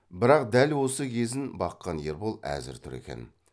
бірақ дәл осы кезін баққан ербол әзір тұр екен